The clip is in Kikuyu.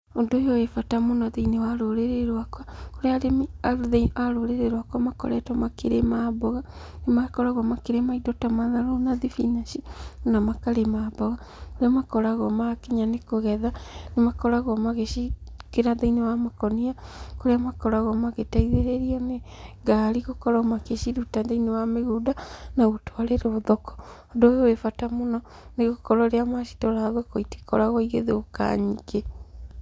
Ũndũ ũyũ wĩ bata mũno thĩiniĩ wa rũrĩrĩ rwakwa, kũrĩa arĩmi a rũrĩrĩ rwakwa makoretwo makĩrĩma mboga, nĩ makoragwo makĩrĩma indo ta matharũ na thibinanji na makarĩma mboga, kũrĩa makoragwo makinya nĩ kũgetha, nĩ makoragwo magĩciĩkĩra thĩiniĩ wa makũnia, kũrĩa makoragwo magĩteithĩrĩrio nĩ ngari gũkorwo magĩciruta thĩiniĩ wa mĩgũnda na gũtwarĩrwo thoko. Ũndũ ũyũ wĩ bata mũno, nĩ gũkorwo rĩrĩa macitwara thoko itikoragwo igĩthũka nyingĩ.